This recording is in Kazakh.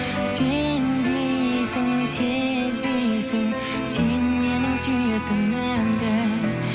сенбейсің сезбейсің сен менің сүйетінімді